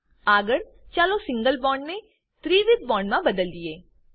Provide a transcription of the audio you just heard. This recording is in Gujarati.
આગળ ચાલો સિંગલ બોન્ડને ત્રિવિધ બોન્ડ મા બદલીએ